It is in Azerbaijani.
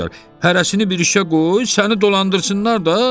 Hərəsini bir işə qoy, səni dolandırsınlar da.